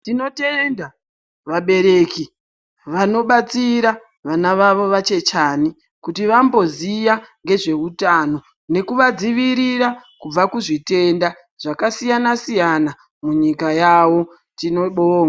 Tinotenda vabereki, vanobatsira vana vavo vachechani, kuti vamboziya nezveutano nekuvadziirira kubva kuzvitenda zvakasiyana-siyana munyika yavo. Tinobonga.